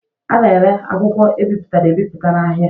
A na-ere akwụkwọ e bipụtara ebipụta n'ahịa.